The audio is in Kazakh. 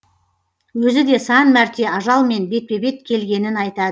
өзі де сан мәрте ажалмен бетпе бет келгенін айтады